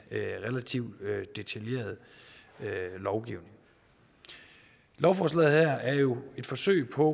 relativt detaljeret lovgivning lovforslaget her er jo et forsøg på